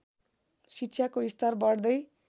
शिक्षाको स्तर बढ्दै